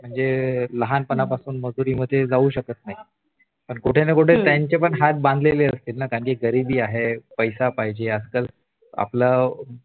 म्हणजे लहानपणापासून मजूरी मधे जाऊ शकत नाही मग कुठे ना कुठे त्यांचे पण हात बांधले असतील ना काही गरीबी आहे पैसा पाहिजे अक्कल आपल